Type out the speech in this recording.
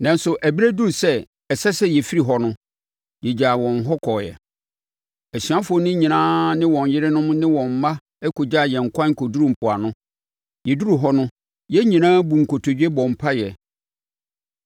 Nanso, ɛberɛ duruu sɛ ɛsɛ sɛ yɛfiri hɔ no, yɛgyaa wɔn hɔ kɔeɛ. Asuafoɔ no nyinaa ne wɔn yerenom ne wɔn mma kɔgyaa yɛn kwan kɔduruu mpoano. Yɛduruu hɔ no, yɛn nyinaa buu nkotodwe bɔɔ mpaeɛ.